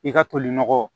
I ka toli nɔgɔ